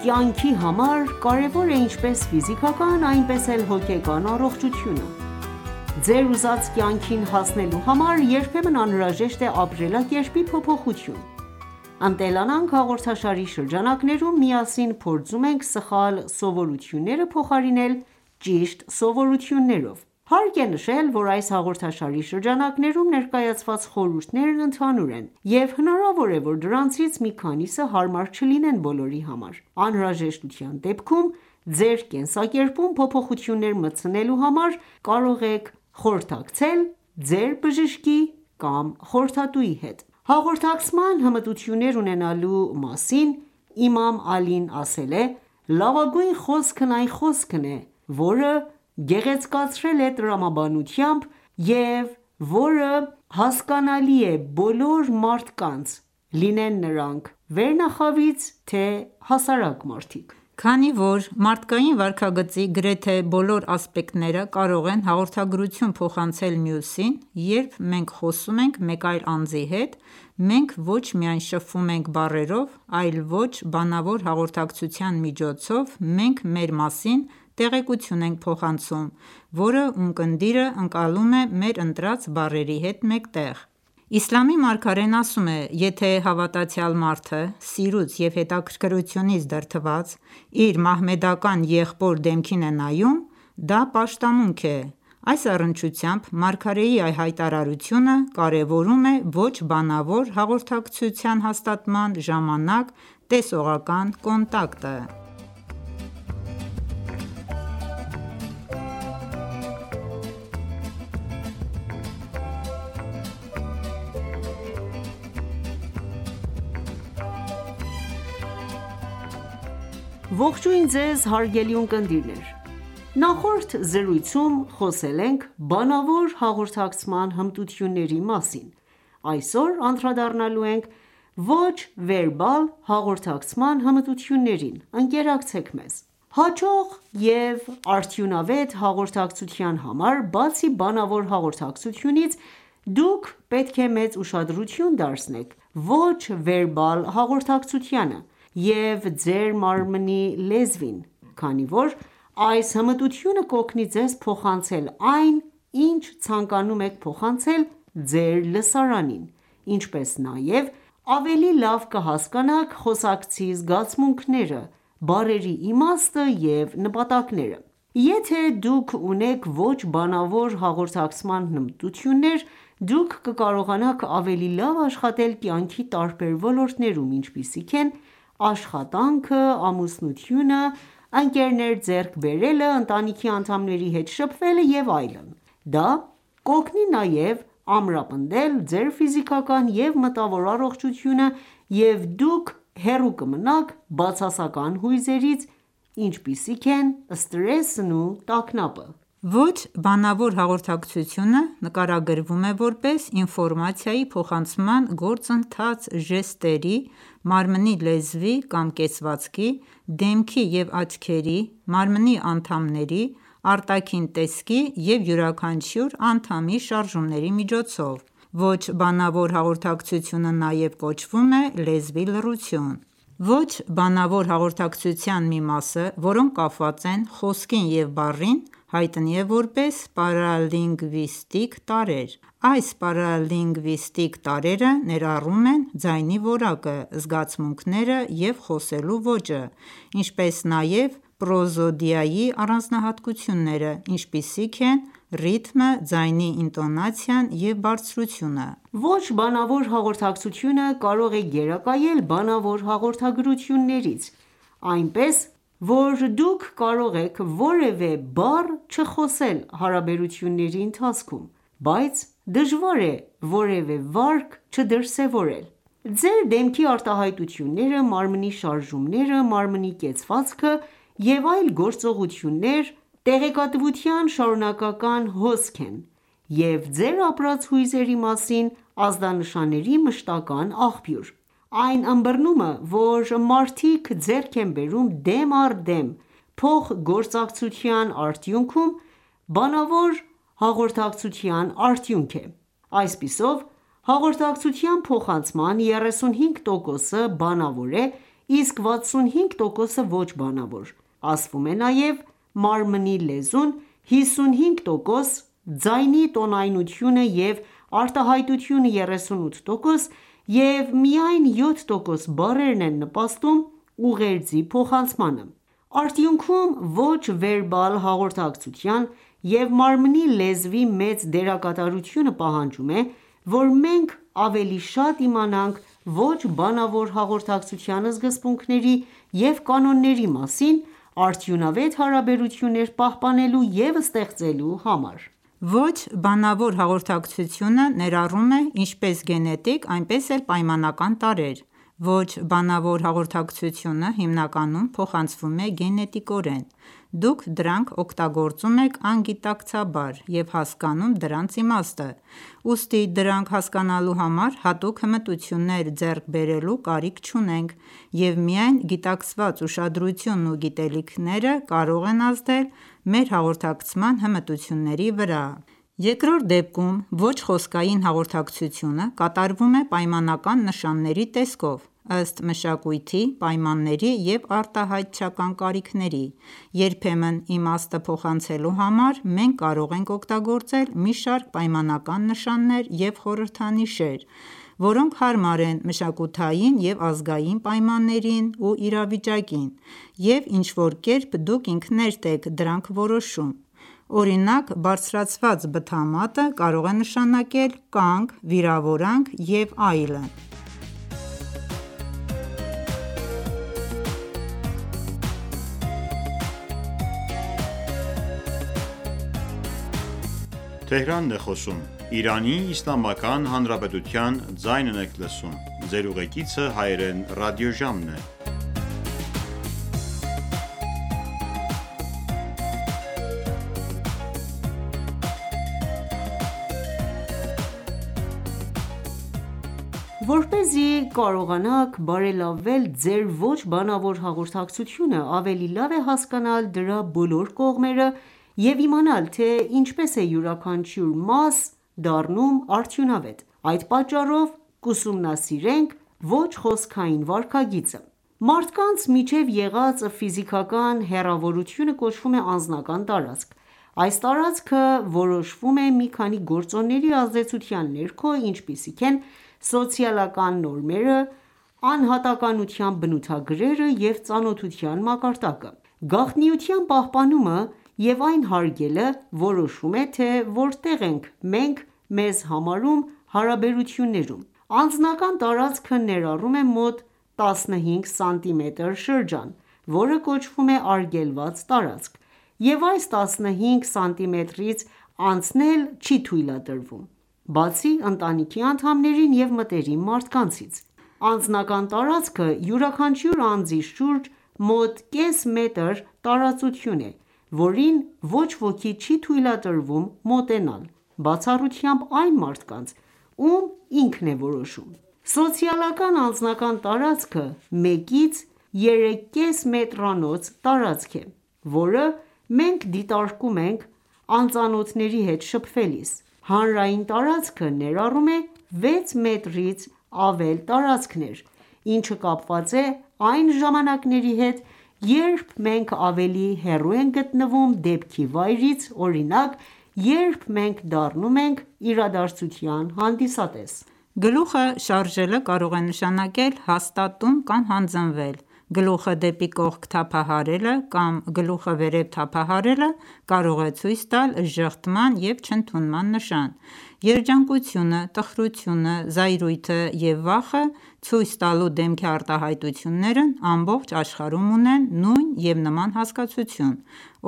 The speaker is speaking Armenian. կյանքի համար կարևոր է ինչպես ֆիզիկական, այնպես էլ հոգեկան առողջությունը: Ձեր ուզած կյանքին հասնելու համար երբեմն անհրաժեշտ է ապրելակերպի փոփոխություն: «Ընտելանանք» հաղորդաշարի շրջանակներում միասին փորձում ենք սխալ սովորությունները փոխարինել ճիշտ սովորություններով։ Հարկ է նշել, որ այս հաղորդաշարի շրջանակներում ներկայացված խորհուրդներն ընդհանուր են, և հնարավոր է, որ դրանցից մի քանիսը հարմար չլինեն բոլորի համար: Անհրաժեշտության դեպքում ձեր կենսակերպում փոփոխություններ մտցնելու համար կարող եք խորհրդակցել ձեր բժշկի կամ խորհրդատուի հետ: Հաղորդակցման հմտություններ ունենալու մասին Իմամ Ալին ասել է.«Լավագույն խոսքն այն խոսքն է, որը գեղեցկացել է տրամաբանությամբ և որը հասկանալի է բոլոր մարդկանց՝ լինեն նրանք վերնախավից, թե՝ հասարակ մարդիկ»: Քանի որ մարդկային վարքագծի գրեթե բոլոր ասպեկտները կարող են հաղորդագրություն փոխանցել մյուսին, երբ մենք խոսում ենք մեկ այլ անձի հետ, մենք ոչ միայն շփվում ենք բառերով, այլ ոչ բանավոր հաղորդակցության միջոցով մենք մեր մասին տեղեկություն ենք փոխանցում, որը ունկնդիրը ընկալում է մեր ընտրած բառերի հետ մեկտեղ: Իսլամի մարգարեն ասում է.«Եթե հավատացյալ մարդը սիրուց և հետաքրքրությունից դրդված իր մահմեդական եղբոր դեմքին է նայում, դա պաշտամունք է»: Այս առնչությամբ մարգարեի հայտարարությունը կարևորում է ոչ բանավոր հաղորդակցության հաստատման ժամանակ տեսողական կոնտակտը: Ողջույն ձեզ հարգելի ունկնդիրներ: Նախորդ զրույցում խոսել ենք բանավոր հաղորդակցման հմտությունների մասին: Այսօր անդրադառնալու ենք ոչ վերբալ հաղորդակցման հմտություններին: Ընկերակցեք մեզ: Հաջող և արդյունավետ հաղորդակցության համար, բացի բանավոր հաղորդակցությունից, դուք պետք է մեծ ուշադրություն դարձնեք ոչ վերբալ հաղորդակցությանը և ձեր մարմնի լեզվին, քանի որ այս հմտությունը կօգնի ձեզ փոխանցել այն, ինչ ցանկանում եք փոխանցել ձեր լսարանին, ինչպես նաև ավելի լավ կհասկանաք խոսակցի զգացմունքները, բառերի իմաստը և նպատակները: Եթե ​​դուք ունեք ոչ բանավոր հաղորդակցման հմտություններ, դուք կկարողանաք ավելի լավ աշխատել կյանքի տարբեր ոլորտներում, ինչպիսիք են աշխատանքը, ամուսնությունը, ընկերներ ձեռք բերելը, ընտանիքի անդամների հետ շփվելը և այլն: Դա կօգնի նաև ամրապնդել ձեր ֆիզիկական և մտավոր առողջությունը և դուք հեռու կմնաք բացասական հույզերից, ինչպիսիք են սթրեսն ու տագնապը: Ոչ բանավոր հաղորդակցությունը նկարագրվում է որպես ինֆորմացիայի փոխանցման գործընթաց ժեստերի, մարմնի լեզվի կամ կեցվածքի, դեմքի և աչքերի, մարմնի անդամների, արտաքին տեսքի և յուրաքանչյուր անդամի շարժումների միջոցով: Ոչ բանավոր հաղորդակցությունը նաև կոչվում է լեզվի լռություն: Ոչ բանավոր հաղորդակցության մի մասը, որոնք կապված են խոսքին և բառերին, հայտնի է որպես պարալինգվիստիկ տարրեր: Այս պարալինգվիստիկ տարրերը ներառում են ձայնի որակը, զգացմունքները և խոսելու ոճը, ինչպես նաև պրոզոդիայի առանձնահատկությունները, ինչպիսիք են ռիթմը, ձայնի ինտոնացիան և բարձրությունը: Ոչ բանավոր հաղորդակցությունը կարող է գերակայել բանավոր հաղորդագրություններից, այնպես որ դուք կարող եք որևէ բառ չխոսել հարաբերությունների ընթացքում, բայց դժվար է որևե վարք չդրսևորել: Ձեր դեմքի արտահայտությունները, մարմնի շարժումները, մարմնի կեցվածքը և այլ գործողություններ, տեղեկատվության շարունակական հոսք են և ձեր ապրած հույզերի մասին ազդանշանների մշտական ​​աղբյուր: Այն ըմբռնումը, որ մարդիկ ձեռք են բերում դեմ առ դեմ փոխգործակցության արդյունքում, բանավոր հաղորդակցության արդյունք է: Այսպիսով, հաղորդակցության փոխանցման 35%-ը բանավոր է, իսկ 65%-ը՝ ոչ բանավոր: Ասվում է նաև մարմնի լեզուն 55%, ձայնի տոնայնությունը և արտահայտությունը 38% և միայն 7% բառերն են նպաստում ուղերձի փոխանցմանը: Արդյունքում, ոչ վերբալ հաղորդակցության և մարմնի լեզվի մեծ դերակատարությունը պահանջում է, որ մենք ավելի շատ իմանանք ոչ բանավոր հաղորդակցության սկզբունքների և կանոնների մասին՝ արդյունավետ հարաբերություններ պահպանելու և ստեղծելու համար: Ոչ բանավոր հաղորդակցությունը ներառում է ինչպես գենետիկ, այնպես էլ պայմանական տարրեր: Ոչ բանավոր հաղորդակցությունը հիմնականում փոխանցվում է գենետիկորեն: Դուք դրանք օգտագործում եք անգիտակցաբար և հասկանում դրանց իմաստը: Ուստի դրանք հասկանալու համար հատուկ հմտություններ ձեռք բերելու կարիք չունենք, և միայն գիտակցված ուշադրությունն ու գիտելիքները կարող են ազդել մեր հաղորդակցման հմտությունների վրա։ Երկրորդ դեպքում ոչ խոսքային հաղորդակցությունը կատարվում է պայմանական նշանների տեսքով՝ ըստ մշակույթի, պայմանների և արտահայտչական կարիքների։ Երբեմն իմաստը փոխանցելու համար մենք կարող ենք օգտագործել մի շարք պայմանական նշաններ և խորհրդանիշեր, որոնք հարմար են մշակութային և ազգային պայմաններին ու իրավիճակին, և ինչ-որ կերպ դուք ինքներդ եք դրանք որոշում: Օրինակ, բարձրացված բթամատը կարող է նշանակել կանգ, վիրավորանք և լավ: Որպեսզի կարողանաք բարելավել ձեր ոչ բանավոր հաղորդակցությունը, ավելի լավ է հասկանալ դրա բոլոր կողմերը և իմանալ, թե ինչպես է յուրաքանչյուր մաս դառնում արդյունավետ: Այդ պատճառով կուսումնասիրենք ոչ խոսքային վարքագիծը: Մարդկանց միջև եղած ֆիզիկական հեռավորությունը կոչվում է «անձնական տարածք»: Այս տարածքը որոշվում է մի քանի գործոնների ազդեցության ներքո, ինչպիսիք են սոցիալական նորմերը, անհատականության բնութագրերը և ծանոթության մակարդակը: Գաղտնիության պահպանումը և այն հարգելը որոշում է, թե որտեղ ենք մենք մեզ համարում հարաբերություններում: Անձնական տարածքը ներառում է մոտ 15 սմ շրջան, որը կոչվում է արգելված տարածք, և այս 15 սանտիմետրից անցնել չի թույլատրվում, բացի ընտանիքի անդամներին և մտերիմ մարդկանցից։ Անձնական տարածքը յուրաքանչյուր անձի շուրջ մոտ կես մետր տարածություն է, որին ոչ ոքի չի թույլատրվում մոտենալ, բացառությամբ այն մարդկանց, ում ինքն է որոշում: Սոցիալական անձնական տարածքը 1-ից 3,5 մետրանոց շրջան է, որը մենք դիտարկում ենք անծանոթների հետ շփվելիս: Հանրային տարածքը ներառում է 6 մետրից ավել տարածքներ, ինչը կապված է այն ժամանակների հետ, երբ մենք ավելի հեռու ենք գտնվում դեպքի վայրից, օրինակ, երբ մենք դառնում ենք իրադարձության հանդիսատես: Գլուխը շարժելը կարող է նշանակել հաստատում կամ հանձնվել. Գլուխը դեպի կողք թափահարելը կամ գլուխը վերև թափահարելը կարող է ցույց տալ ժխտման և չընդունման նշան: Երջանկությունը, տխրությունը, զայրույթը և վախը ցույց տալու դեմքի արտահայտություններն ամբողջ աշխարհում ունեն նույն և նման հասկացություն։